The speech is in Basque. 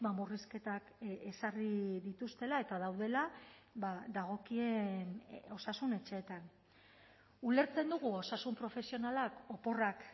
murrizketak ezarri dituztela eta daudela dagokien osasun etxeetan ulertzen dugu osasun profesionalak oporrak